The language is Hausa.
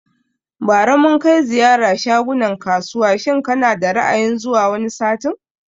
Bari mun kai ziyara shagunan kasuwa shin kana da Ra'ayin zuwa wani satin?